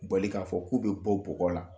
Bali k'a fɔ k'u bɛ bɔ bugɔgɔɔ la